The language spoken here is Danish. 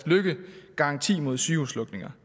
løkkegaranti mod sygehuslukninger